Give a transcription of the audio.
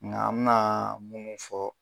Nka an mina munnu fɔ